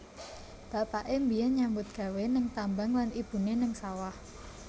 Bapaké mbiyen nyambut gawé ning tambang lan ibuné ning sawah